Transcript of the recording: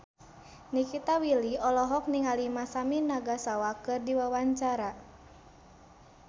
Nikita Willy olohok ningali Masami Nagasawa keur diwawancara